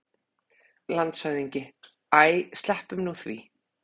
LANDSHÖFÐINGI: Æ, sleppum nú því!